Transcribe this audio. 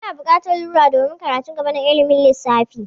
Muna bukatar rula domin karatun gaba na ilimin lissafi.